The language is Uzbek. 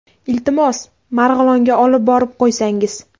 Iltimos, Marg‘ilonga olib borib qo‘ysangiz.